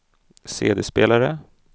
CD-spelare